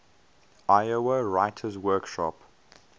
iowa writers workshop